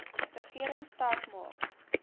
regering sterk maak